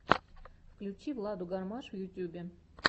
включи владу гармаш в ютьюбе